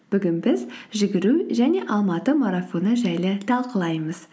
бүгін біз жүгіру және алматы марафоны жайлы талқылаймыз